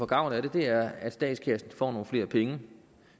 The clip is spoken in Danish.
gavn af det er at statskassen får nogle flere penge